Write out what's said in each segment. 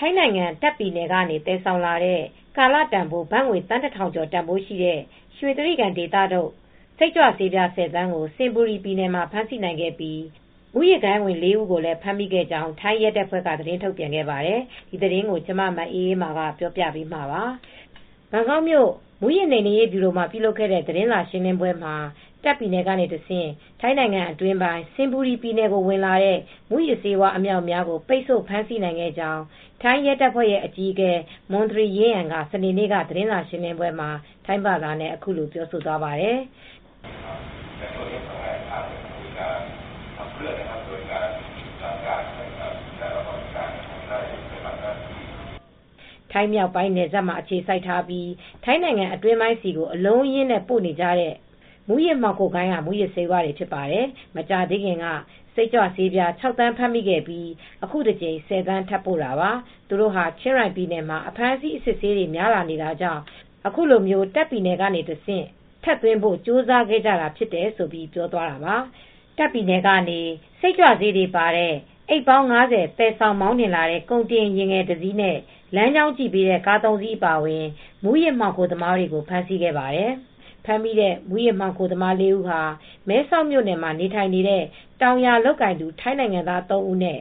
ထိုင်းနိုင်ငံတာ့ခ်ပြည်နယ် ကနေ သယ်ဆောင်လာတဲ့ ကာလတန်ဖိုး ဘတ်ငွေ သန်း ၁,၀၀၀ ကျော်တန်ဖိုးရှိတဲ့ ရွှေကြိဂံဒေသထုတ် စိတ်ကြွဆေးပြား ၁၀ သန်းကို စင်ဘူရီပြည်နယ်မှာ ဖမ်းဆီးနိုင်ခဲ့ပြီး မဲဆောက်ကလာတဲ့ မူးယစ်မှောင်ခိုဂိုဏ်းဝင် ၄ ဦးကို ဖမ်းမိခဲ့ကြောင်း ထိုင်းရဲတပ်ဖွဲ့က သတင်းထုတ်ပြန်ခဲ့ပါတယ်။ ထိုင်းအခြေစိုက် ဗွီအိုအေ သတင်းထောက် မအေးအေးမာ သတင်းပေးပို့ထားပါတယ်။ ဘန်ကောက်မြို့ မူးယစ်နှိမ်နင်းရေး ဗျူရို မှာ ပြုလုပ်ခဲ့တဲ့ သတင်းစာရှင်းလင်းပွဲမှာ တာ့ခ်ပြည်နယ်က တဆင့် ထိုင်းနိုင်ငံ အတွင်းပိုင်း စင်ဘူရီပြည်နယ်ကို ဝင်လာတဲ့ မူးယစ်ဆေးဝါး အမြောက်အမြားပိတ်ဆို့ဖမ်းဆီးနိုင်ခဲ့ကြောင်း ထိုင်းရဲတပ်ဖွဲ့ရဲ့အကြီးအကဲ မွန်သရီ ရင်းယန် က စနေ့နေ့ သတင်းစားရှင်းလင်းပွဲမှာ ထိုင်းဘာသာနဲ့ ပြောသွားပါတယ်။ ထိုင်းမြောက်ပိုင်း နယ်စပ်မှာ အခြေစိုက်ထားပြီး ထိုင်းနိုင်ငံအတွင်းကို အလုံးအရင်းပို့နေကြတဲ့ မူးယစ်မှောင်ခိုဂိုဏ်းက မူးယစ်ဆေးတွေဖြစ်တယ်။ မကြာသေးခင်က စိတ်ကြွဆေးပြား ၆ သန်းဖမ်းမိခဲ့ပြီး အခုတကြိမ် ၁၀ သန်းထပ်ပို့တာပါ။ သူတို့ဟာ ချင်းရိုင်ပြည်နယ်မှာ အဖမ်းဆီးအစစ်ဆေးတွေများလာ နေတာကြောင့် အခုလို တာခ့်ပြည်နယ်ထဲကနေ တဆင့် ထပ်သွင်းဘို့ ကြိုးစားခဲ့တာလို့ ပြောသွားတာပါ။ တာ့ခ်ပြည်နယ်ကနေ စိတ်ကြွဆေး တွေပါတဲ့ အိတ်ပေါင်း ၅၀ သယ်ဆောင် မောင်းနှင်လာတဲ့ ကုန်တင်ယာဉ်ငယ်တစ်စီးနဲ့ လမ်းကြောင်း ကြည့် ပေးတဲ့ ကား၃ စီး အပါအဝင် မူးယစ်မှောင်ခိုသမားတွေကို ဖမ်းဆီးခဲ့ပါတယ်။ ဖမ်းမိတဲ့ မူးယစ်မှောင်ခိုသမား ၄ းဦးဟာ မဲဆောက်မြို့နယ်မှာ နေထိုင်နေကြတဲ့ တောင်ယာလုပ်ကိုင်သူ ထိုင်းနိုင်ငံသားသုံးဦးနဲ့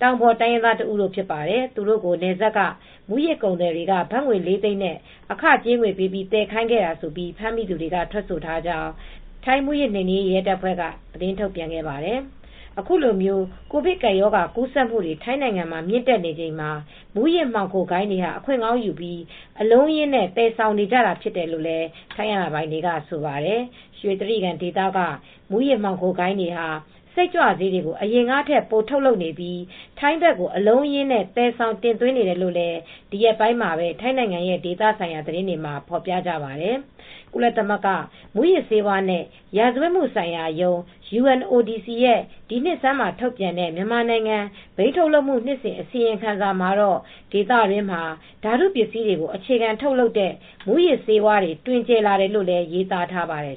တောင်ပေါ်တိုင်းရင်းသား တဦးတို့ ဖြစ်ပါတယ်။ သူတို့ကို နယ်စပ်က မူးယစ်ကုန်သည်တွေက ဘတ်ငွေ လေးသိန်းနဲ့ အခကြေးငွေပေးပြီး သယ်ခိုင်းခဲ့တာလို့ဖမ်းမိသူတွေက ထွက်ဆိုထားကြောင်း မူးယစ်နှိမ်နင်းရေး ရဲတပ်ဖွဲ့က ထုတ်ပြန်သွားပါတယ်။ အခုလို ကိုဗစ်ကပ်ရောဂါကူးစက်မူတွေ ထိုင်းမှာမြင့်တက်နေချိန်မှာ မူးယစ်ဂိုဏ်းတွေဟာ အခွင့်ကောင်းယူပြီး အလုံးအရင်းနဲ့ သယ်ဆောင်နေကြတာဖြစ်တယ်လို့ ထိုင်းအာဏာပိုင်တွေကဆိုပါတယ်။ ရွှေကြိဂံဒေသက မူးယစ်မှောင်ဂိုဏ်းတွေဟာ စိတ်ကြွဆေးတွေကို အရင်ကထက် ပိုထုတ်လုပ်နေပြီး ထိုင်းဘက်ကိုအလုံးအရင်း သယ်ဆောင် တင်သွင်းနေတယ်လို့လည်း ဒီရက်ပိုင်းမှာပဲ ထိုင်းနိုင်ငံရဲ့ဒေသဆိုင်ရာသတင်းတွေမှာ ဖေါ်ပြကြပါတယ်။ ကုလသမဂ္ဂ မူးယစ်ဆေးဝါးနဲ့ ရာဇဝတ်မှုဆိုင်ရာရုံး (UNODC) ရဲ့ ဒီနှစ်ဆန်းမှာ ထုတ်ပြန်တဲ့ မြန်မာနိုင်ငံ ဘိန်းထုတ်လုပ်မှု နှစ်စဉ် အစီရင်ခံစာမှာတော့ ဒေသတွင်းမှာ ဓာတုပစ္စည်းတွေကို အခြေခံထုတ်လုပ်တဲ့ မူးယစ်ဆေးဝါးတွေ တွင်ကျယ်လာတယ်လို့လည်း ရေးသားထားပါတယ်